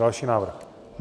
Další návrh.